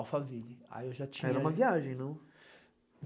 Alphaville, aí eu já tinha... Era uma viagem, não?